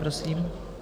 Prosím.